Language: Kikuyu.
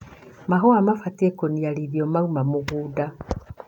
Mahũa mabatie kũniarithwo mauma mũgũnda.